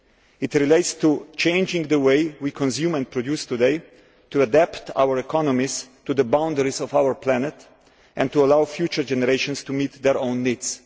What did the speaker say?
It relates to changing the way we consume and produce today to adapt our economies to the boundaries of our planet and to allow future generations to meet their own needs.